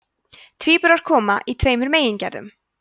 tvíburar koma í tveimur megingerðum